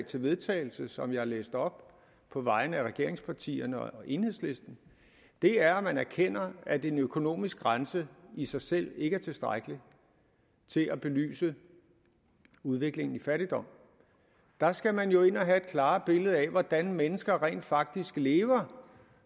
til vedtagelse som jeg har læst op på vegne af regeringspartierne sf og enhedslisten er at man erkender at en økonomisk grænse i sig selv ikke er tilstrækkeligt til at belyse udviklingen i fattigdom der skal man jo ind og have et klarere billede af hvordan mennesker rent faktisk lever